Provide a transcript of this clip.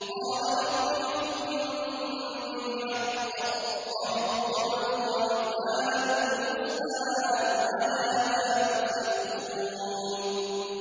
قَالَ رَبِّ احْكُم بِالْحَقِّ ۗ وَرَبُّنَا الرَّحْمَٰنُ الْمُسْتَعَانُ عَلَىٰ مَا تَصِفُونَ